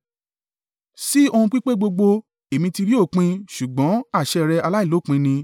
Sí ohun pípé gbogbo èmi ti rí òpin; ṣùgbọ́n àṣẹ rẹ aláìlópin ni.